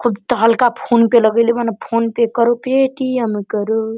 खूब तहलका फ़ोन पे लगई ले बानी फ़ोन पे करो पेटम करो।